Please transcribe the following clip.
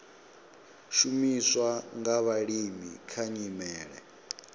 shumiswa nga vhalimi kha nyimele